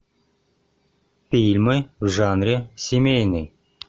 фильмы в жанре семейный